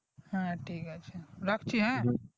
হ্যা ঠিক আছে রাখছি হ্যা